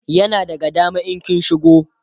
yana daga dama in kin shigo